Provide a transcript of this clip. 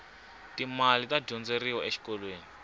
ti mali ta dyondzeriwa exikolweni